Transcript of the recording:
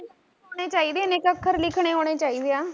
ਆਉਂਨੇ ਚਾਹੀਦੇ ਇਨੇ ਕੁ ਅੱਖਰ ਲਿਖਣੇ ਤਾਂ ਆਉਣੇ ਚਾਹੀਦੇ ਆ